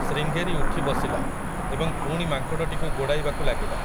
ଶ୍ରୀଙ୍ଗେରୀ ଉଠିବସିଲା, ଏବଂ ପୁଣି ମାଙ୍କଡ଼ଟିକୁ ଗୋଡ଼ାଇବାକୁ ଲାଗିଲା ।